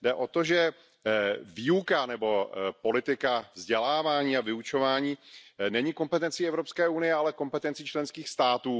Jde o to, že výuka nebo politika vzdělávání a vyučování není kompetencí EU, ale kompetencí členských států.